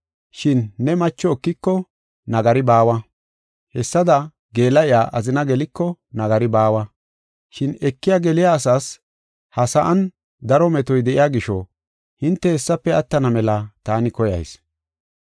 Shin ne macho ekiko nagari baawa. Hessada geela7iya azina geliko nagari baawa. Shin ekiya geliya asaas ha sa7an daro metoy de7iya gisho hinte hessafe attana mela taani koyayis.